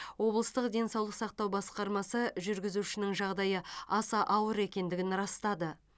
облыстық денсаулық сақтау басқармасы жүргізушінің жағдайы аса ауыр екендігін растады